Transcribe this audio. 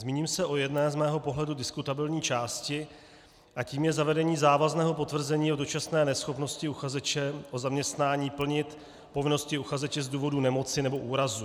Zmíním se o jedné z mého pohledu diskutabilní části, a tou je zavedení závazného potvrzení o dočasné neschopnosti uchazeče o zaměstnání plnit povinnosti uchazeče z důvodu nemoci nebo úrazu.